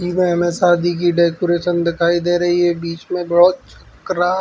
ई में हमें शादी की डेकोरेशन दिखाई दे रही है बीच में बोहोत --ं